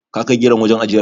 Ka kai geron wajen ajiyar?